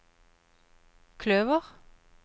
kløver